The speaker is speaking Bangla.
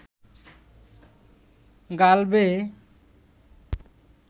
গাল বেয়ে